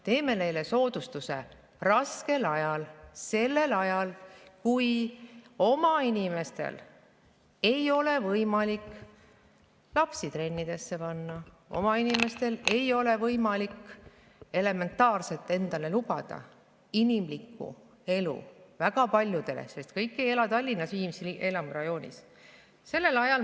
Teeme neile soodustuse sel raskel ajal, kui meie oma inimestel ei ole võimalik lapsi trennidesse panna, väga paljudel ei ole võimalik lubada endale elementaarset inimlikku elu, sest kõik ei ela Tallinnas Viimsi elamurajoonis.